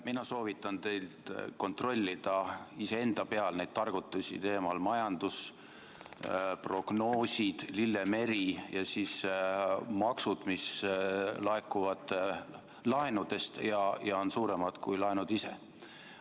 Mina soovitan teil kontrollida iseenda peal neid targutusi teemal majandusprognoosid, lillemeri ja maksud, mis laekuvad laenudest ja on suuremad kui laenud ise.